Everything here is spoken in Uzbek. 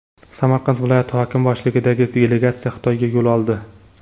Samarqand viloyati hokimi boshchiligidagi delegatsiya Xitoyga yo‘l oldi.